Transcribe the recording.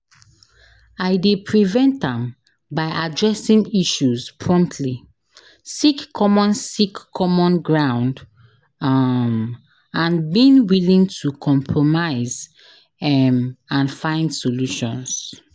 I dey prevent am by addressing issues promptly, seek common seek common ground um and being willing to compromise um and find solutions.